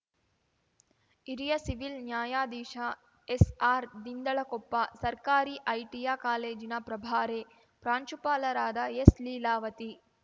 ಹಿರಿಯ ಸಿವಿಲ್‌ ನ್ಯಾಯಾಧೀಶ ಎಸ್‌ಆರ್‌ದಿಂಡಲಕೊಪ್ಪ ಸರ್ಕಾರಿ ಐಟಿಯ ಕಾಲೇಜಿನ ಪ್ರಭಾರೆ ಪ್ರಾಂಶುಪಾಲರಾದ ಎಸ್‌ಲೀಲಾವತಿ